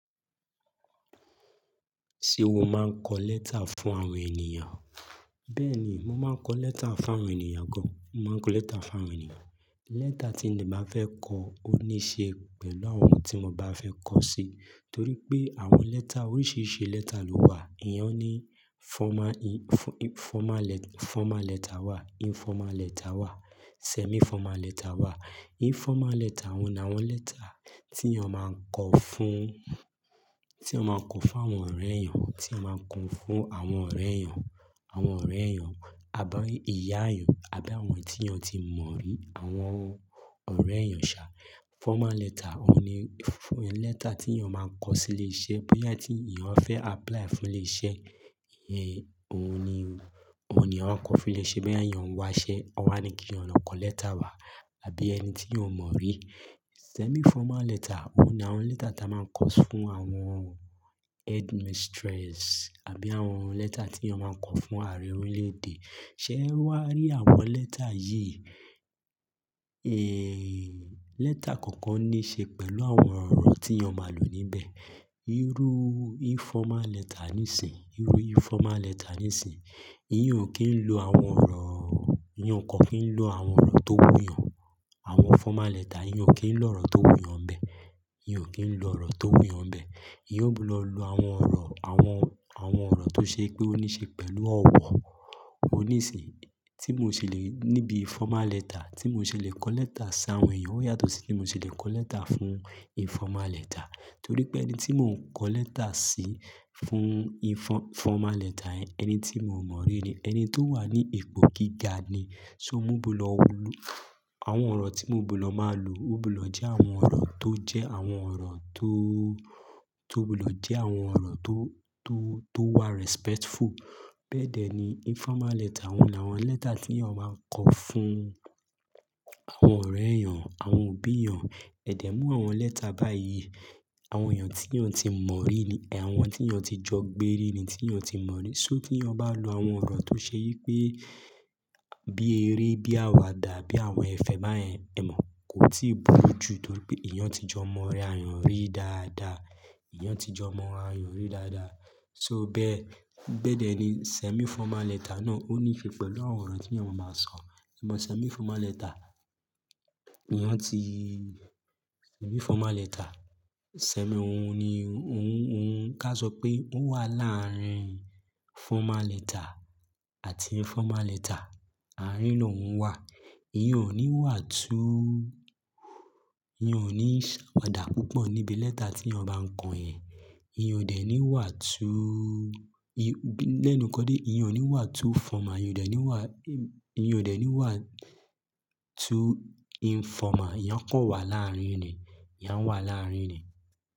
Ṣé o máa ń kọ lẹ́tà fún àwọn ènìyàn? Bẹ́ẹ̀ ni, mo máa ń kọ lẹ́tà fún àwọn ènìyàn gan. Mo máa ń kọ lẹ́tà fún àwọn ènìyàn. Lẹ́tà tí de bá fẹ́ kọ, ó níí ṣe pẹ̀lú àwọn eyi ti n bá fẹ́ kọ sí, torí pé àwọn lẹ́tà oríṣìíríṣìí lẹ́tà ló wà. Èèyàn ní formal, informal, formal lẹ́tà wà, informal lẹ́tà wà, semi-formal lẹ́tà wà. Informal lẹ́tà, oun ni àwọn lẹ́tà tí èèyàn máa ń kọ fún, tí èèyàn máa ń kọ fún àwọn ọ̀rẹ́ èèyàn, tí èèyàn máa ń kọ fún àwọn ọ̀rẹ́ èèyàn, àwọn ọ̀rẹ́ èèyàn, àbi ìyá èèyàn, àbí àwọn tí èèyàn ti mọ̀ rí, àwọn ọ̀rẹ́ èèyàn ṣà. Formal lẹ́tà, òun ni fún lẹ́tà tí èèyàn máa ń kọ sí ilé iṣẹ́, bí ẹni tí èèyàn fẹ́ apply fún ilé iṣẹ́, óun ni, òun ni eeyan kọ fún ilé iṣẹ́ bí èèyàn ń wá iṣẹ́. Wọ́n á ní kí èèyàn lọ kọ lẹ́tà wà àbí ẹni tí èèyàn mọ̀ rí. Semi-formal lẹ́tà, òun ni àwọn lẹ́tà tí a máa ń kọ fún àwọn headmistress àbí àwọn lẹ́tà tí èèyàn máa ń kọ fún ààrẹ orílẹ̀-èdè. Ṣé ẹ wá rí àwọn lẹ́tà yìí? Èèè, lẹ́tà kọ̀ọ̀kan níí ṣe pẹ̀lú àwọn ọ̀rọ̀ tí èèyàn máa lò níbẹ̀. Irú informal lẹ́tà níìsín, irú informal lẹ́tà níìsín, ìyẹn ò kí ń lo àwọn ọ̀rọ̀, ìyẹn kò kí ń lo àwọn ọ̀rọ̀ tó wù yàn. Àwọn formal lẹ́tà, eeyan ò kí ń lo ọ̀rọ̀ tó wù yàn nbe. Eeyan ò kí ń lo ọ̀rọ̀ tó wù yàn bẹ́ẹ̀. Eeyan ó gbọ́dọ̀ lo àwọn ọ̀rọ̀, àwọn, àwọn ọ̀rọ̀ tó ṣe pé ó níí ṣe pẹ̀lú ọ̀wọ̀. Ó níìsín, tí mo ṣe lè níbi formal lẹ́tà, tí mo ṣe lè kọ lẹ́tà sí àwọn èèyàn ó yàtọ̀ sí tí mo ṣe lè kọ lẹ́tà fún informal lẹ́tà. Torí pé ẹni tí mò ń kọ lẹ́tà sí fún informal lẹ́tà yẹn, ẹni tí mò mọ̀ rí ni, ẹni tó wà ní ipò gíga ni. So mò gbudo lu àwọn ọ̀rọ̀ tí mò gbudo máa lò. Ó gbudo je àwọn ọ̀rọ̀ tó jẹ́ àwọn ọ̀rọ̀ tó, tó gbudo je àwọn ọ̀rọ̀ tó, tó, tó wà respectful. Bẹ́ẹ̀dẹ́ ni informal lẹ́tà, oun ni àwọn lẹ́tà tí èèyàn máa ń kọ fún àwọn ọ̀rẹ́ èèyàn, àwọn òbí èèyàn. Ẹ̀dẹ́ mú àwọn lẹ́tà báyìí, àwọn èèyàn tí èèyàn ti mọ̀ rí ni, àwọn tí èèyàn ti jọ gbẹ́ rí ni tí èèyàn ti mọ̀ rí. So ti èèyàn bá lo àwọn ọ̀rọ̀ tó ṣe yí pé, bí eré, bí àwàdà, bí àwọn ẹ̀fẹ̀ báyẹn, ẹ mọ̀, kò tíì búru ju torí pé èèyàn ti jọ mọ̀ ra èèyàn rí dáadáa. Eeyan ti jọ mọ̀ ra èèyàn rí dáadáa. So bẹ́ẹ̀, bẹ́ẹ̀dẹ́ ni semi-formal lẹ́tà náà. Ó níí ṣe pẹ̀lú àwọn ọ̀rọ̀ tí èèyàn má maa sọ. Ẹ mọ̀ semi-formal lẹ́tà, eeyan ó ti semi-formal lẹ́tà. Semi òun ni, òun, òun ká sọ pé ó wà láàrin formal lẹ́tà àti informal lẹ́tà. Àárín lóun wà. Ìyẹn ò ní wà tú, ìyẹn ò ní ṣàwàdà púpọ̀ níbi lẹ́tà tí èèyàn bá ń kọ ẹ̀. Ìyẹn òdẹ ní wà tú, lẹ́nu kọ́ dé, ìyẹn ò ní wà tú formal, ìyẹn òdẹ ní wà, ìyẹn òdẹ ní wà tú informal. Ìyẹn kò wà láàrín ni. Ìyẹn wà láàrín ni.